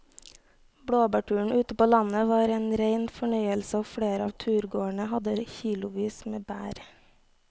Blåbærturen ute på landet var en rein fornøyelse og flere av turgåerene hadde kilosvis med bær.